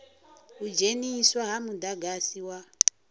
u dzheniswa ha mudagasi wa